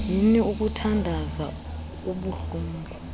yini ukuthandaza kubuhlungu